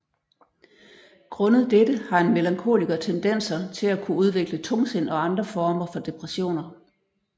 Grundet dette har en melankoliker tendenser til at kunne udvikle tungsind og andre former for depressioner